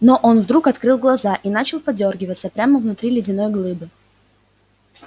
но он вдруг открыл глаза и начал подёргиваться прямо внутри ледяной глыбы